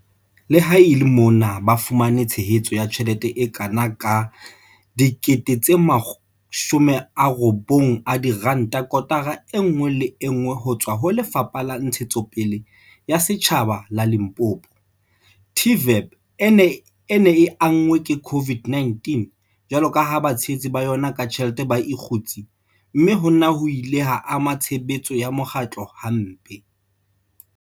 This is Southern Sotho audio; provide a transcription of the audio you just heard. Le ha e le mona ba fumana tshehetso ya tjhelete e kana ka R90 000 kotara enngwe le enngwe hotswa ho Lefapha la Ntshetsopele ya Setjhaba la Limpopo, TVEP e ne e anngwe ke COVID-19 jwalo ka ha batshehetsi ba yona ka tjhelete ba ikgutse, mme hona ho ile ha ama tshebetso ya mokgatlo ha mpe.